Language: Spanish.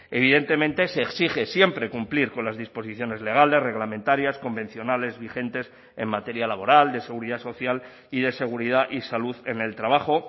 evidentemente se exige siempre cumplir con las disposiciones legales reglamentarias convencionales vigentes en materia laboral de seguridad social y de seguridad y salud en el trabajo